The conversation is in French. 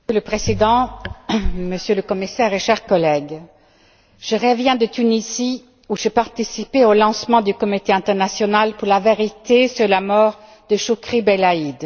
Monsieur le Président, Monsieur le Commissaire, chers collègues, je reviens de Tunisie où j'ai participé au lancement du Comité international pour la vérité sur la mort de Chokri Belaïd.